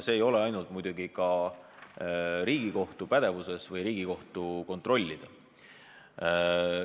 See ei ole muidugi ainult Riigikohtu pädevuses või Riigikohtu kontrollida.